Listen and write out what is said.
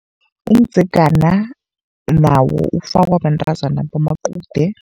Umdzegana nawo ufakwa bantazana bamaqude.